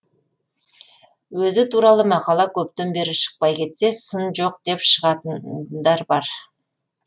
өзі туралы мақала көптен бері шықпай кетсе сын жоқ деп шығатындар бар